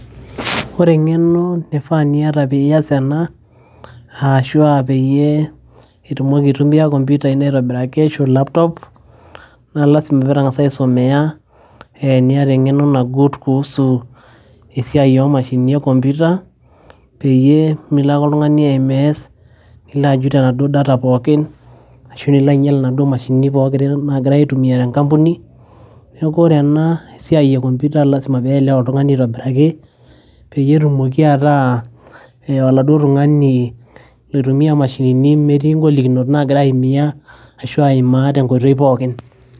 ore eng'eno nifaa niyata piyas ena ashua peyie itumoki aitumia computer ino aitobiraki ashu laptop naa lasima pitang'asa aisomeya eh, niata eng'eno nagut kuhusu esiai omashinini e computer peyie milo ake oltung'ani ae mess nilo ajut enaduo data pookin ashu nilo ainyial inaduo mashinini pookin nagirae aitumia tenkampuni neeku ore ena esiai e computer lasima peelewa oltung'ani aitobiraki peyie etumoki ataa oladuo tung'ani loitumia imashinini metii ingolikinot nagira aiyimia ashu aimaa tenkoitoi pookin.